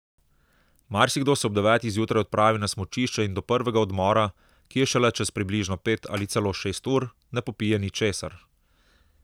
Marsikdo se ob devetih zjutraj odpravi na smučišče in do prvega odmora, ki je šele čez približno pet ali celo šest ur, ne popije ničesar!